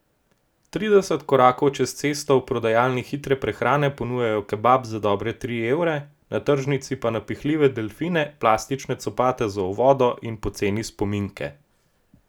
Trideset korakov čez cesto v prodajalni hitre prehrane ponujajo kebab za dobre tri evre, na tržnici pa napihljive delfine, plastične copate za v vodo in poceni spominke.